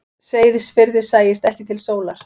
Seyðisfirði sæist ekki til sólar.